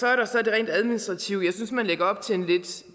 er der det rent administrative jeg synes man lægger op til en lidt